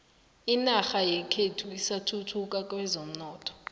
inorha yekhethu isathuthuka kwezomnotho